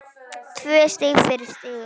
Tvö stig fyrir sigur